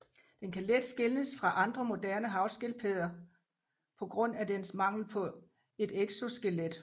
Den kan let skelnes fra andre moderne havskildpadder på grund af dens mangel på et exoskelet